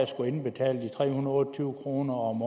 skulle indbetale de tre hundrede og tyve kroner om